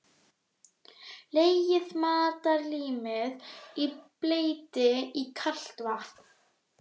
Leggið matarlímið í bleyti í kalt vatn.